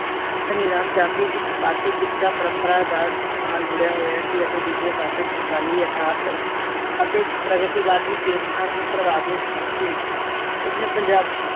ਧਨੀਰਾਮ ਚਾਤਰੀ ਇੱਕ ਪਾਸੇ ਕਿੱਸਾ ਪਰਮਪਰਾ ਦਾ ਨਾਲ ਜੁੜਿਆ ਹੋਇਆ ਸੀ, ਅਤੇ ਦੂਜੇ ਪਾਸੇ ਸਮਕਾਲੀ ਅਰਧਾਤ ਅਤੇ ਪ੍ਰਗਤੀਵਾਦੀ ਚੇਤਨਾ ਤੋਂ ਪ੍ਰਭਾਵਿਤ ਸੀ।